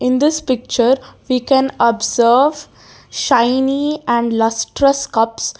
this picture we can observe shiny and lustrous cups.